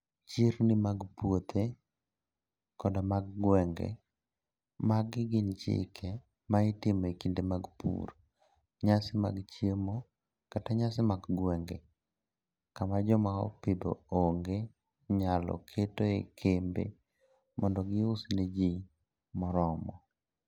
Chirni mag puothe koda mag gwenge: Magi gin gik ma itimo e kinde mag pur, nyasi mag chiemo, kata nyasi mag gwenge, kama joma opidho ong'e nyalo ketoe kembe mondo gius ne ji moromo.